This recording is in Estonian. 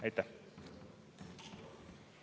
Aitäh!